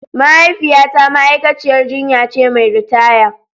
Mahaifiyata ma'aikaciyar jinya ce mai ritaya.